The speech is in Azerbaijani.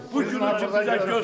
Bu günü bizə göstərdi.